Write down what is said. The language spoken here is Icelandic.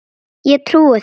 Ég trúi þér